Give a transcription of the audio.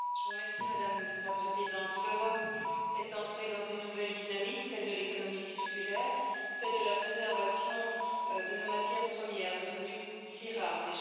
Madame la Présidente, l'Europe est entrée dans une nouvelle dynamique, celle de l'économie circulaire, celle de la préservation de nos matières premières, devenues si rares déjà.